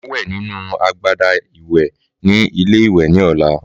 Màá wè nínú agbada ìwè ní ilé ìwè ní ọ̀la